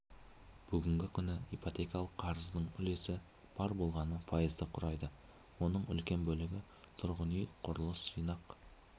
бүгінгі күні ипотекалық қарыздың үлесі бар болғаны пайызды құрайды оның үлкен бөлігі тұрғын үй құрылыс жинақ